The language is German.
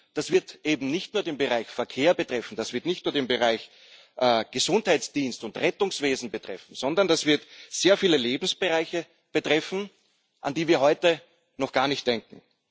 Das wird eben nicht nur den Bereich Verkehr betreffen, das wird nicht nur den Bereich Gesundheitsdienste und Rettungswesen betreffen, sondern das wird sehr viele Lebensbereiche betreffen, an die wir heute noch gar nicht denken.